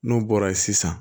N'u bɔra ye sisan